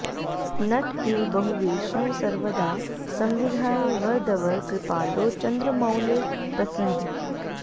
नट इव बहुवेषं सर्वदा संविधाय वरदवर कृपालो चन्द्रमौले प्रसीद